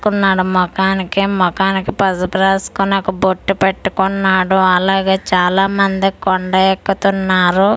పడుకున్నాడు మొఖానికి మొఖానికి పసుపు రాసుకొని ఒక బొట్టు పెట్టుకున్నాడు అలాగే చాలా మండది కొండ ఎక్కుతున్నారు .]